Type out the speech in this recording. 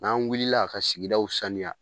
N'an wulila ka sigidaw sanuya.